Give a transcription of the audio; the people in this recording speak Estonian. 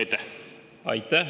Aitäh!